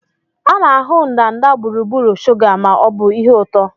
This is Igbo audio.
A na-ahụ ndanda gburugburu shuga ma ọ bụ ihe ụtọ